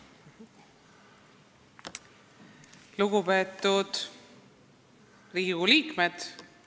Lugupeetud Riigikogu liikmed!